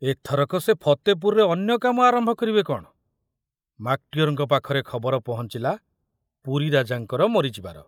ଏଥରକ ସେ ଫତେପୁରରେ ଅନ୍ୟ କାମ ଆରମ୍ଭ କରିବେ କଣ, ମାକଟିଅରଙ୍କ ପାଖରେ ଖବର ପହଞ୍ଚିଲା ପୁରୀ ରାଜାଙ୍କର ମରିଯିବାର।